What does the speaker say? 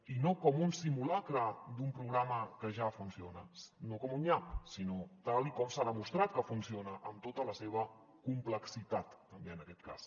i no com un simulacre d’un programa que ja funciona no com un nyap sinó tal com s’ha demostrat que funciona amb tota la seva complexitat també en aquest cas